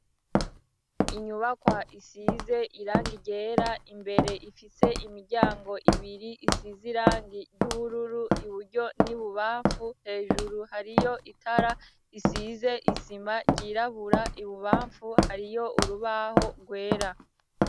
Inyubakwa isize irangi ryera. Imbere ifise imiryango ibiri isize irangi ry'ubururu, iburyo n'ibubamfu hejuru, hariyo itara isize isima ryirabura, ibubamfu hariyo urubaho rwera.